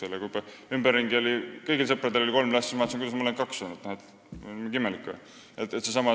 Aga kui ümberringi oli juba kõigil sõpradel kolm last, siis vaatasin, et kuidas mul ainult kaks on, mingi imelik olen või.